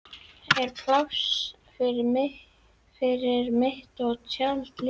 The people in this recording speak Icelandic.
Er pláss fyrir mitt tjald líka?